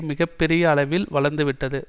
மிக பெரிய அளிவில் வளர்ந்து விட்டது